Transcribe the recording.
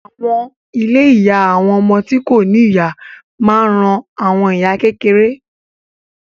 Àwọn ilé ìyá àwọn ọmọ tí kò ní ìyá máa ń ran àwọn ìyá kékeré